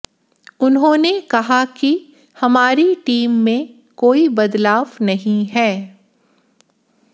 उन्होंने कहा कि हमारी टीम में कोई बदलाव नहीं है